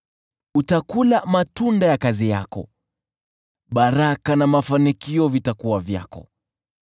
Utakula matunda ya kazi yako; baraka na mafanikio vitakuwa vyako.